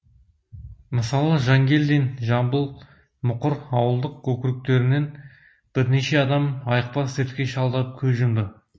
мысалы жангелдин жамбыл мұқыр ауылдық округтерінен бірнеше адам айықпас дертке шалдығып көз жұмды